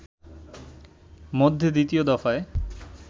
মধ্যে দ্বিতীয় দফায়